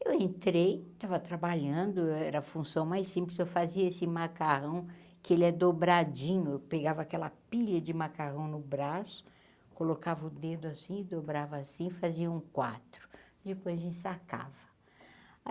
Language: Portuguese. Eu entrei, estava trabalhando, eu era função mais simples, só fazia esse macarrão que ele é dobradinho, eu pegava aquela pilha de macarrão no braço, colocava o dedo assim e dobrava assim, fazia um quatro, depois ensacava.